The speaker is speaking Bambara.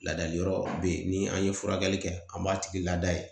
Ladali yɔrɔ be yen ni an ye furakɛli kɛ an b'a tigi lada yen